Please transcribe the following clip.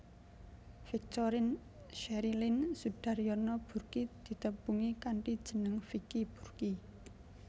Victorine Cherryline Soedarjono Burki ditepungi kanthi jeneng Vicky Burky